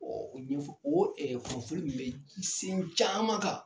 o ɲɛfɔ o in bɛ fɛn caman kan.